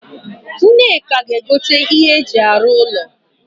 Nneka ga egote ihe eji aru ulo